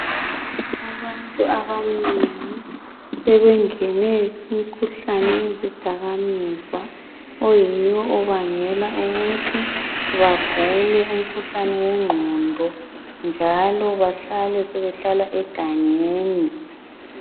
Abantu abanengi sebengene kumkhuhlane wezidakamizwa oyiwo obangele ukuthi bagule umkhuhlane wegqondo njalo bahlale sebehlala egangeni.